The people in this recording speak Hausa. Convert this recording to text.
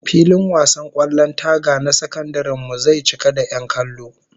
Filin wasan kwallon taga na sakandaren mu zai cika da 'yan kallo